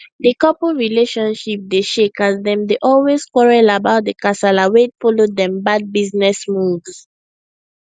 di couple relationship dey shake as dem dey always quarrel about the kasala wey follow dem bad business moves